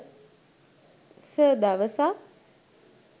sir දවසක්